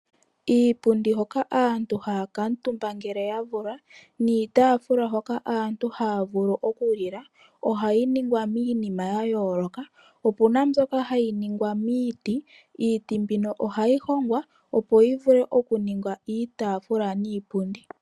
Iipundi hoko aantu haya kumutumba ngele ya vulwa niitafula hoka aantu haya vulu okulila ohayi ningwa miinima yayolaka. Opu na mbyoka hayi ningwa miiti. Iiti mbino ohayi hongwa opo yi vule okuninga iitafula niipundi.